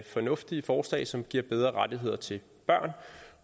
fornuftige forslag som giver bedre rettigheder til børn